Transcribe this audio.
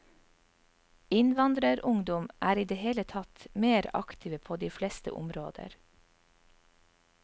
Innvandrerungdom er i det hele tatt mer aktive på de fleste områder.